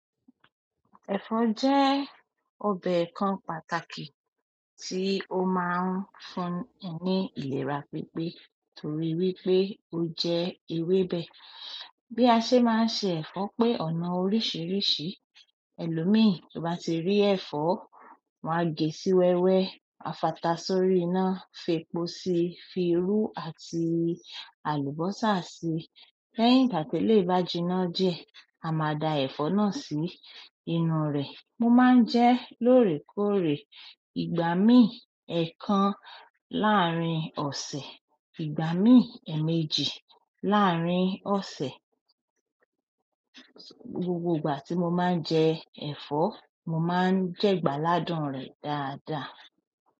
Ẹ̀fọ́ jẹ́ ọbẹ̀ kan pàtàkì tí ó máa ń fún ẹ ní ìlera pípé torí wípé ó jẹ ewébẹ̀. Bí a ṣe máa ń se ẹ̀fọ́ pé ọ̀nà oríṣiríṣi, ẹlòmíì tó bá ti rí ẹ̀fọ́, wan gẹ̀ sí wẹ́wẹ́, a fatà sí orí iná, fi epo síi, fi irú àti àlùbọ́sà síi. Lẹ́yìn ìgbà tí eleyì bájíná diẹ, a máa da ẹ̀fọ́ náà sí inú rẹ̀. Mo máa ń jẹ lóòrèkóòrè. Ìgbà míì, ẹ̀ẹ̀kan láàrín ọ̀sẹ̀, ìgbà míì, èèmejì láàrín ọ̀sẹ̀. Gbogbo ìgbà ti mo ma nje ẹ̀fọ́, ni mo ma nje igbaladun re dáadáa.